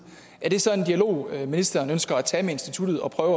er det så en dialog ministeren ønsker at tage med instituttet og prøve